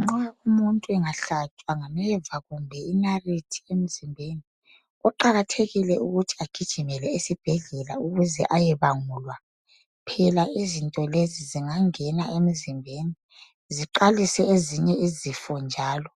Nxa umuntu engahlatshwa ngameva kumbe inariti emzimbeni, kuqakathekile ukuthi agijimele esibhedlela ukuze ayebangulwa. Phela izinto lezi zingangena emzimbeni ziqalise ezinye izifo njalo,